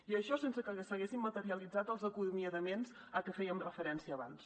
i això sense que s’haguessin materialitzat els acomiadaments a què fèiem referència abans